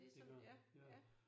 Det gør jeg ja